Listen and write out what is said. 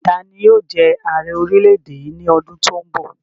Tani yóò jẹ ààrẹ orílẹ̀-èdè yìí ní ọdún to n bọ̀?